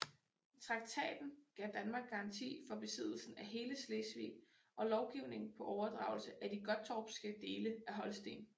Traktaten gav Danmark garanti for besiddelsen af hele Slesvig og lovning på overdragelse af de gottorpske dele af Holsten